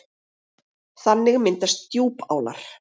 Þannig myndast djúpálar.